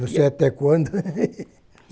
Não sei até quando.